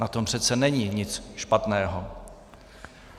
Na tom přece není nic špatného.